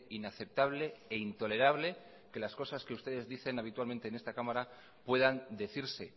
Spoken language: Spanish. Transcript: inaceptable e intolerable que las cosas que ustedes dicen habitualmente en esta cámara puedan decirse